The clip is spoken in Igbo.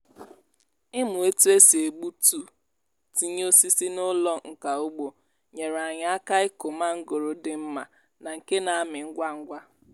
ịmụ otu e si egbutu tinye osisi n'ụlọ nka ugbo nyere anyị aka ikụ mangoro dị mma na nke na-amị ngwa ngwa.